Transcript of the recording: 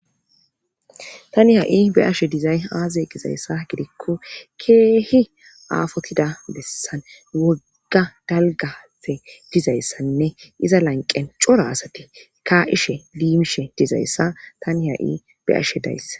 Tani ha'i be ashe dizay aaze gizayssa gidikko keehi aafotida bessan wogga dalgafe dizayssanne iza lanqen cora asati ka'ishe liimishe dizayssa tani ha'i be ashe dayss.